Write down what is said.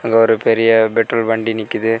ஒரு பெரிய பெட்ரோல் வண்டி நிக்குது.